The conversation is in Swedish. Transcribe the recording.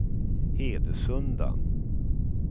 Hedesunda